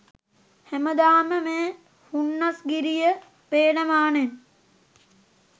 හෑමදාම මේ හුන්නස්ගිරිය පේන මානෙන්